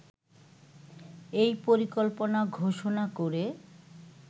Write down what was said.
এই পরিকল্পনা ঘোষণা করে